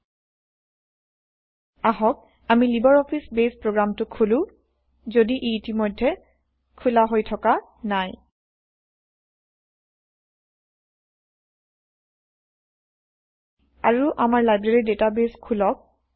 160 আহক আমি Libre Office Base প্ৰগ্ৰামটো খোলো যদি ই ইতিমধ্যে খোলা হৈ থকা নাই160 আৰু আমাৰ লাইব্ৰেৰী ডেটাবেইছ খোলক